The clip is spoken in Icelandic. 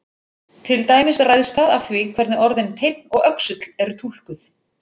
Til dæmis ræðst það af því hvernig orðin teinn og öxull eru túlkuð.